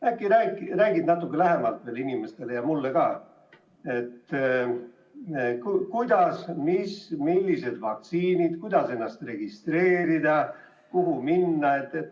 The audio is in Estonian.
Äkki räägid natuke lähemalt neile inimestele ja mulle ka, et millised vaktsiinid tulevad, kuidas ennast registreerida ja kuhu minna.